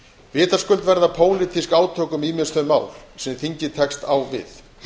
vitaskuld verða pólitísk átök um ýmis þau mál sem þingið tekst á við